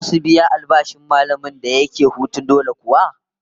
Zasu biya albashin mallamin da yake hutun dole kuwa?